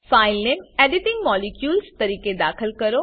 file name editing molecules તરીકે દાખલ કરો